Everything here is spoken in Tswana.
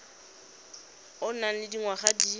o nang le dingwaga di